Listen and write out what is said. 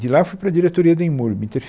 De lá fui para a diretoria do IMURB